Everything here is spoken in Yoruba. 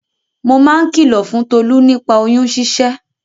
Mo máa ń kìlò fún Tolú nípa oyún ṣíṣẹ́.